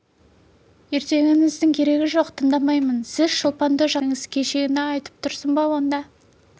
ертегіңіздің керегі жоқ тыңдамаймын сіз шолпанды жақсы көресіз соған айта беріңіз кешегіні айтып тұрсың ба онда